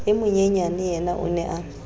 e monyenyaneyena o ne a